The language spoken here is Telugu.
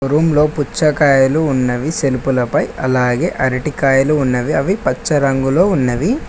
రూమ్ లో పుచ్చకాయలు ఉన్నవి సెల్పు లపై అలాగే అరటికాయలు ఉన్నవి అవి పచ్చ రంగులో ఉన్నావి.